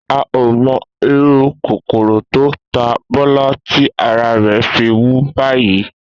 A ò mo̩ irú kòkòrò tó ta Bó̩lá tí ara rè̩ fi wú báyìí